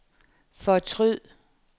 fortryd